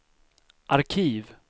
arkiv